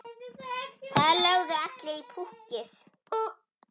Það lögðu allir í púkkið.